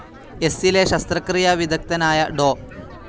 എസ്സിലെ ശസ്ത്രക്രിയാ വിദഗ്ദ്ധനായ ഡോ.